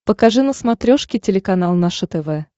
покажи на смотрешке телеканал наше тв